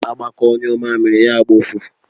Agbakọ ṅụọ mmamiri ya gba ụfụfụ.